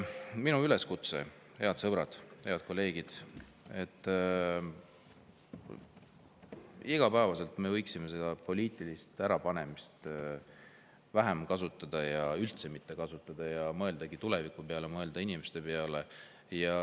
Minu üleskutse, head sõbrad, head kolleegid: me võiksime poliitilist ärapanemist igapäevaselt vähem kasutada või üldse mitte kasutada ja mõelda tuleviku peale, mõelda inimeste peale.